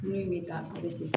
Ne ye taa